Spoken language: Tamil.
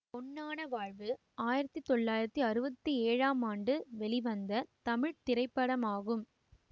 பொன்னான வாழ்வு ஆயிரத்தி தொள்ளாயிரத்தி அறுபத்தி ஏழாம் ஆண்டு வெளிவந்த தமிழ் திரைப்படமாகும்